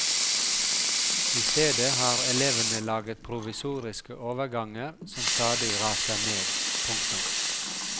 I stedet har elevene laget provisoriske overganger som stadig raser ned. punktum